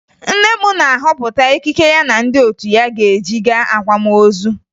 Nne m na-ahọpụta ekike ya na ndị otu ya ga-eyi gaa akwamozu